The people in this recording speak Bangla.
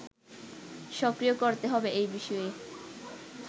সক্রিয় করতে হবে এ বিষয়ে